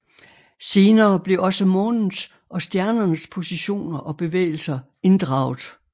Senere blev også månens og stjernernes positioner og bevægelser inddraget